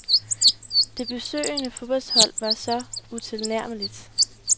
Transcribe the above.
Det besøgende fodboldhold var så utilnærmeligt.